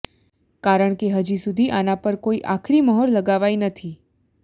કારણ કે હજી સુધી આના પર કોઈ આખરી મ્હોર લગાવાઈ નથી